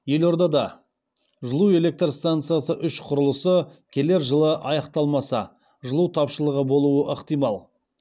елордада жылу электр стансасы үш құрылысы келер жылы аяқталмаса жылу тапшылығы болуы ықтимал